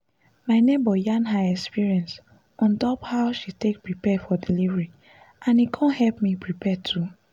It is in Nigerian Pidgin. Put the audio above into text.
my neighbor yarn her experience on top how she take prepare for delivery and e con help me prepare too